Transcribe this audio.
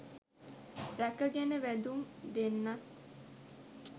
රැක ගෙන වැදුම් දෙන්නත්